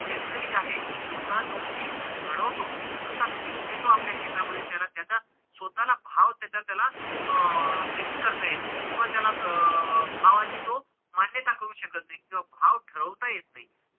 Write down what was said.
शेतकरी जे आहे ते स्वतः जो पीक घडवतो स्वतः पीक घेतो आपल्या शेता मध्ये त्याला त्याचा स्वतःला भाव त्याचा त्याला अं fix करता येत नाही किंवा त्याला अं भावाची तो मान्यता करू शकत नाही किंवा भाव ठरवता येत नाही.